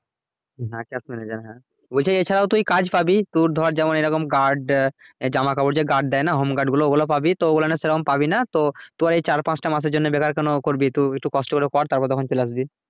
হ্যাঁ cash manager হ্যাঁ বলছে এছাড়াও তুই কাজ পাবি তোর ধর যেমন এইরকম guard জামাকাপড় যে guard দেয় না home guard গুলো ওগুলো পাবি তো ওগুলোনে সে রকম পাবিনা তো তুই এই চার পাঁচটা মাসের জন্য বেকার কেন করবি? একটু কষ্ট করে কর তারপর তখন চলে আসবি।